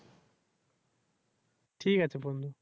ঠিক আছে বন্ধু।